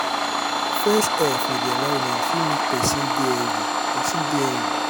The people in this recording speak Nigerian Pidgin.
fresh air for di environment fit make person de healthy person de healthy